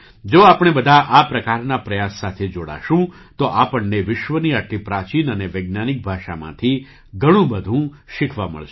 જો આપણે બધા આ પ્રકારના પ્રયાસ સાથે જોડાશું તો આપણને વિશ્વની આટલી પ્રાચીન અને વૈજ્ઞાનિક ભાષામાંથી ઘણું બધું શીખવા મળશે